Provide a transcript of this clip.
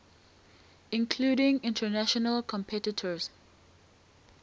including international competitors